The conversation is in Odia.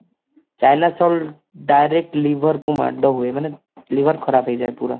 china salt direct liver କୁ ମାଡ ହୁଏ ମାନେ liver ଖରାପ ହେଇଯାଏ ପୁରା